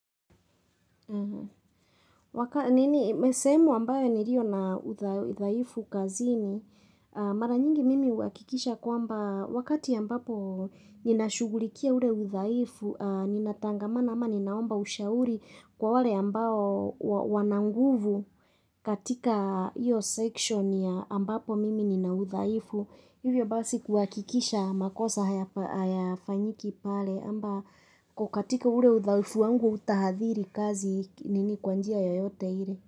Nini imesemwa ambayo nirio na utha uthaifu kazini, a mara nyingi mimi huakikisha kwamba wakati ambapo ninashughulikia ule uthaifu, a ninatangamana ama ninaomba ushauri kwa wale ambao uwo wana nguvu, katika iyo section ya ambapo mimi nina udhaifu. Hivyo basi kuakikisha makosa hayafa hayafanyiki pale amba kukatika ure uthaifu wangu uthahadhiri kazi k nini kwa njia yoyote ile.